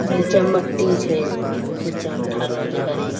नीचा में मट्टी छै नीचा में ठहरो जे हरिण।